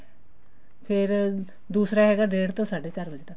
ਫ਼ੇਰ ਦੂਸਰਾ ਹੈਗਾ ਡੇਡ ਤੋਂ ਸਾਢੇ ਚਾਰ ਵਜੇ ਤੱਕ